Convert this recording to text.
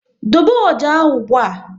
Dobe ọjà ahụ ụgbụa!